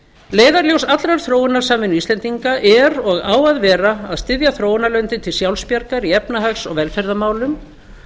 leiðarljós allrar þróunarsamvinnu íslendinga er og á að vera að styðja þróunarlöndin til sjálfsbjargar í efnahags og velferðarmálum